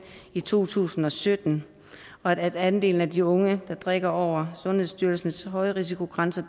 i to tusind og sytten og at andelen af de unge der drikker over sundhedsstyrelsens højrisikogrænse